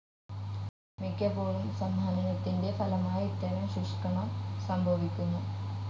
മിക്കപ്പോഴും സംഹനനത്തിൻ്റെ ഫലമായി ഇത്തരം ശുഷ്ക്കണം സംഭവിക്കുന്നു.